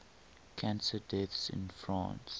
cancer deaths in france